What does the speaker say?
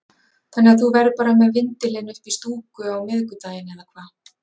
Þannig að þú verður bara með vindilinn uppi í stúku á miðvikudaginn eða hvað?